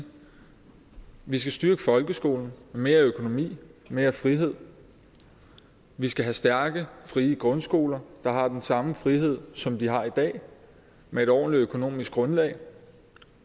vi skal styrke folkeskolen mere økonomi mere frihed vi skal have stærke frie grundskoler der har den samme frihed som de har i dag med et ordentligt økonomisk grundlag